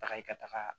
Taga i ka taga